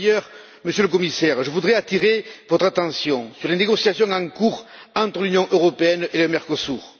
Par ailleurs, Monsieur le Commissaire, je voudrais attirer votre attention sur les négociations en cours entre l'Union européenne et le Mercosur.